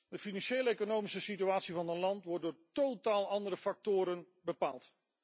De financieel economische situatie van een land wordt door totaal andere factoren bepaald.